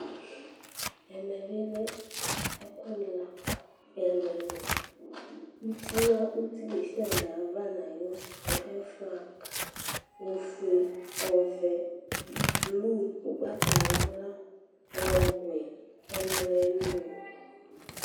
Ɛmɛ bi lɛ ɛkuani la kɔ ɛlu ɛlu uti desiade ava nu ayu flaga ɔfue ɔvɛ blu ugbatawla ɔwɛ ɛlu ɛlu